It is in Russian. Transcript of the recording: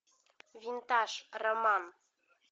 винтаж роман